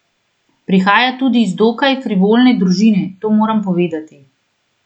Prihaja tudi iz dokaj frivolne družine, to moram povedati.